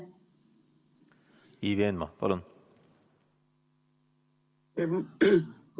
Ivi Eenmaa, palun!